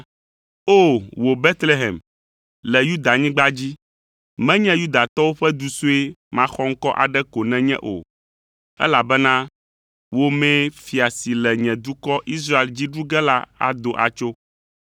“ ‘O, wò Betlehem, le Yudanyigba dzi, menye Yudatɔwo ƒe du sue maxɔŋkɔ aɖe ko nènye o, elabena wò mee fia si le nye dukɔ Israel dzi ɖu ge la ado atso.’ ”